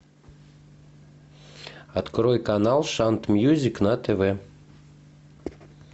открой канал шант мьюзик на тв